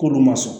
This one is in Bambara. K'olu ma sɔn